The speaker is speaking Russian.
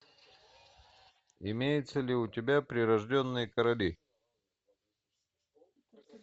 имеется ли у тебя прирожденные короли